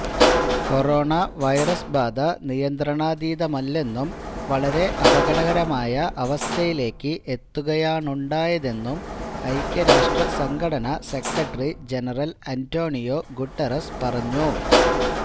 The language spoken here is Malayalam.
കൊറോണ വൈറസ് ബാധ നിയന്ത്രണാതീതമല്ലെന്നും വളരെ അപകടകരമായ അവസ്ഥയിലേക്ക് എത്തുകയാണുണ്ടായതെന്നും ഐക്യരാഷ്ട്ര സംഘടന സെക്രട്ടറി ജനറൽ അന്റോണിയോ ഗുട്ടറസ് പറഞ്ഞു